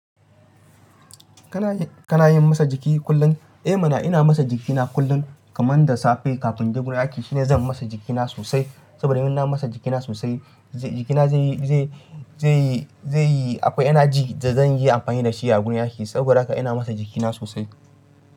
Kana yi, kana yin motsa jiki kullum? Eh mana ina motsa jikina kullum kaman da safe kafin je gurin aiki shine zan motsa jikina sosai saboda in na motsa jikina sosai jikina zai yi, zai yi, zai yi akwai energy da zan yi amfani da shi a gurun yaki saboda haka ina motsa jikina sosai.